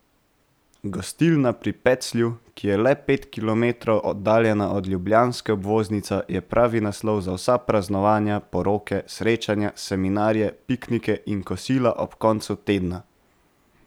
Gostilna pri Peclju, ki je le pet kilometrov oddaljena od ljubljanske obvoznice, je pravi naslov za vsa praznovanja, poroke, srečanja, seminarje, piknike in kosila ob koncu tedna.